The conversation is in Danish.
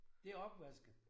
Det opvaske